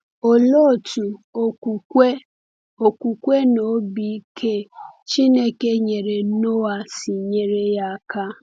Olee otú okwukwe okwukwe na obi ike Chineke nyere Noa si nyere ya aka?